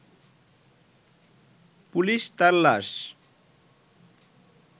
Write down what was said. police তার লাশ